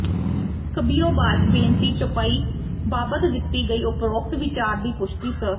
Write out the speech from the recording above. ਕਬਿਯੋਬਾਚ ਬੇਨਤੀ ਚੌਪਈ ਬਾਬਤ ਦਿੱਤੀ ਗਈ ਉਪਰੋਕਤ ਵੀਚਾਰ ਦੀ ਪੁਸ਼ਟੀ ਸ